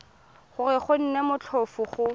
gore go nne motlhofo go